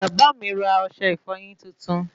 Bàbá mí ra ọsẹ ìfọyín tuntun